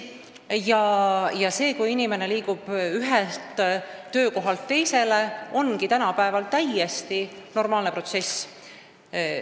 See, kui inimene liigub ühelt töökohalt teisele, on tänapäeval täiesti normaalne protsess.